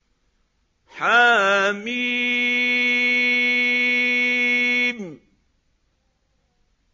حم